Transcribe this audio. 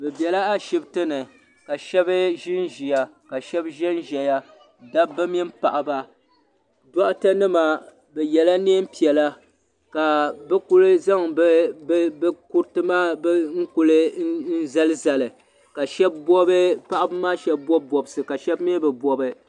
Zamaatu n ku piɛ chisimam n doli palli chana ka tihi bɛ luɣushɛli polo palli ŋɔ ni bɛ ŋɔ zamaatu pam zoo mi ka bi yɛ liiga kara ka bia bilifu birigiri kpɛri mɔri ŋɔ ni ka yɛ liiga piɛlli.